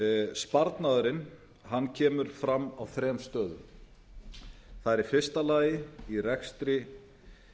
sparnaðurinn kemur fram á þrem stöðum það er í fyrsta lagi í rekstri